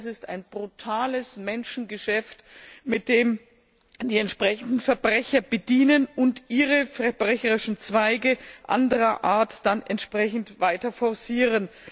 Das heißt, das ist ein brutales Menschengeschäft, mit dem sich die entsprechenden Verbrecher bedienen und ihre verbrecherischen Zweige anderer Art dann entsprechend weiter forcieren.